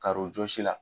Karojɔ si la